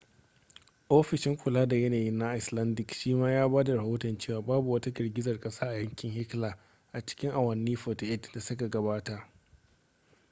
ofishin kula da yanayi na icelandic shima ya ba da rahoton cewa babu wata girgizar kasa a yankin hekla a cikin awanni 48 da suka gabata